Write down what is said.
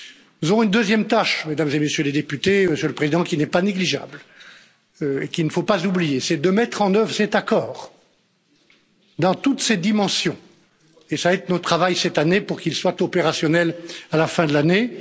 Nous aurons une deuxième tâche, mesdames et messieurs les députés, Monsieur le Président, qui n'est pas négligeable et qu'il ne faut pas oublier c'est de mettre en œuvre cet accord dans toutes ses dimensions et ce sera notre travail cette année pour qu'il soit opérationnel à la fin de l'année.